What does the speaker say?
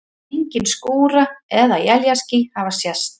Engin skúra- eða éljaský hafa sést.